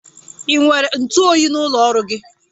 Ị nwere ntụ oyi n'ụlọ ọrụ gị?